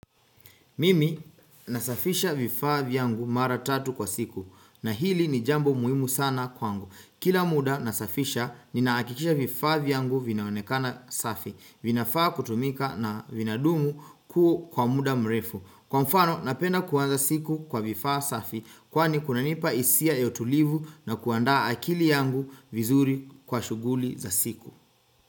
Mimi nasafisha vifaa vyangu mara tatu kwa siku na hili ni jambo muhimu sana kwangu. Kila muda nasafisha nina hakikisha vifaa vyangu vinaonekana safi. Vinafaa kutumika na vinadumu kuu kwa muda mrefu. Kwa mfano napenda kuanza siku kwa vifaa safi kwani kunanipa hisia ya utulivu na kuandaa akili yangu vizuri kwa shughuli za siku.